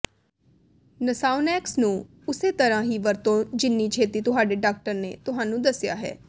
ਨਾਸਾਓਨੈਕਸ ਨੂੰ ਉਸੇ ਤਰ੍ਹਾਂ ਹੀ ਵਰਤੋ ਜਿੰਨੀ ਛੇਤੀ ਤੁਹਾਡੇ ਡਾਕਟਰ ਨੇ ਤੁਹਾਨੂੰ ਦੱਸਿਆ ਹੈ